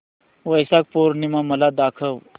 वैशाख पूर्णिमा मला दाखव